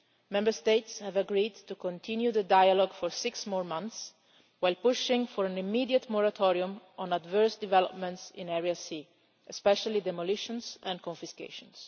Member States have agreed to continue the dialogue for six more months while pushing for an immediate moratorium on adverse developments in Area C, especially demolitions and confiscations.